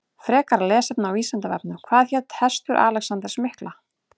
Frekara lesefni á Vísindavefnum Hvað hét hestur Alexanders mikla?